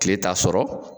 Kile t'a sɔrɔ